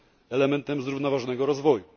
elementem zrównoważonego rozwoju.